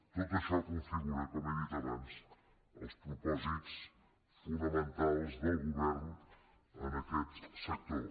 tot això configura com he dit abans els propòsits fonamentals del govern en aquest sector